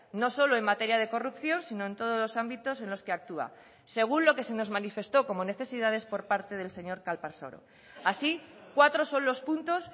no solo en materia de corrupción sino en todos los ámbitos en los que actúa según lo que se nos manifestó como necesidades por parte del señor calparsoro así cuatro son los puntos